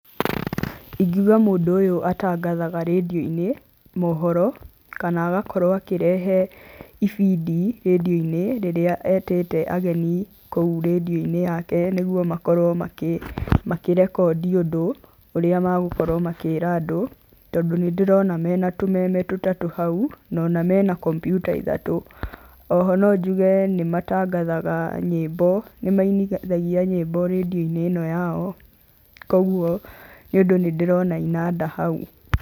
Ingiuga mũndũ ũyũ atangathaga redio-ini mohoro kana agakũrwo akĩrehe ibindi redio-inĩ rĩria etĩte ageni kũu redio-inĩ yake nĩgũo makorwo makĩrekondi ũndũ ũrĩa magũkorwo makĩra andũ tondũ nĩ ndĩrona mena tũmeme tũtatũ hau na ona mena kombyũta ithatũ ,oho no njuge nĩ matangathaga nyimbo nĩ mainĩthagia nyimbo redio-inĩ ĩno yao kogũo nĩ ũndũ nĩ ndĩrona inanda hau.